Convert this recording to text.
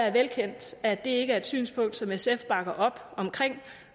er velkendt at det ikke er et synspunkt som sf bakker op om